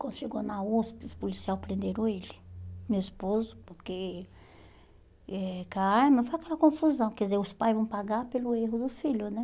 Quando chegou na USP, os policial prenderam ele, meu esposo, porque eh mas foi aquela confusão, quer dizer, os pais vão pagar pelo erro do filho, né?